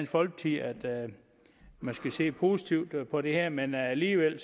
folkeparti at man skal se positivt på det her men alligevel